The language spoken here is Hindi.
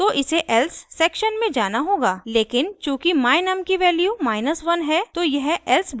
लेकिन चूँकि my_num की वैल्यू 1 है तो यह else ब्लॉक में आगे नहीं बढ़ेगा